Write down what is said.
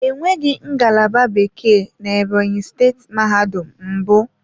Enweghị ngalaba Bekee na Ebonyi steeti mahadum mbụ.